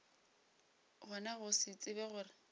gona go se tsebe gore